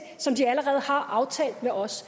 som de allerede har aftalt med os